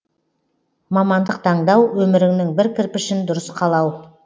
мамандық таңдау өміріңнің бір кірпішін дұрыс қалау